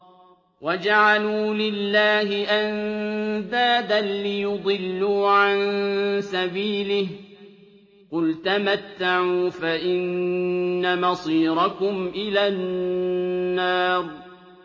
وَجَعَلُوا لِلَّهِ أَندَادًا لِّيُضِلُّوا عَن سَبِيلِهِ ۗ قُلْ تَمَتَّعُوا فَإِنَّ مَصِيرَكُمْ إِلَى النَّارِ